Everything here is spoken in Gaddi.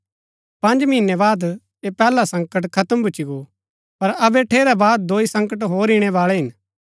पँज महीनै बाद ऐह पैहला संकट खत्म भूच्ची गो पर अबै ठेरै बाद दोई संकट होर इणै बाळै हिन